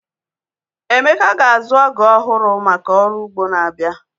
Emeka ga-azu ọgú ọhụrụ maka ọrụ ugbo n'abia